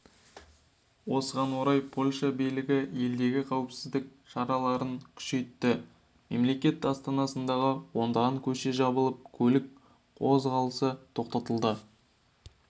осыған орай польша билігі елдегі қауіпсіздік шараларын күшейтті мемлекет астанасындағы ондаған көше жабылып көлік қозғалысы тоқтатылды